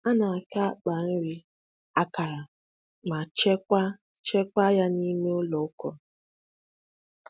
A na-aka akpa nri akara ma chekwaa chekwaa ya n'ime ụlọ akọrọ.